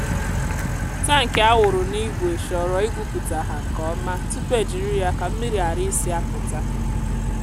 tankị a wụrụ n’ígwè chọrọ ịgwupụta ha nke ọma tupu ejiri ya ka mmiri ghara isi apụta.